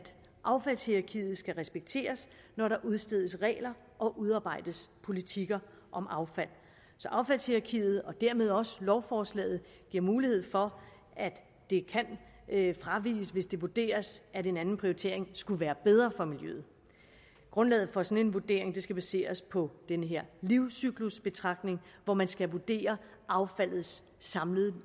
affaldshierarkiet skal respekteres når der udstedes regler og udarbejdes politikker om affald affaldshierarkiet og dermed også lovforslaget giver mulighed for at de kan fraviges hvis det vurderes at en anden prioritering skulle være bedre for miljøet grundlaget for en sådan vurdering skal baseres på den her livscyklusbetragtning hvor man skal vurdere affaldets samlede